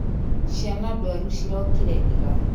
Ciana ndwaru cirokire ira.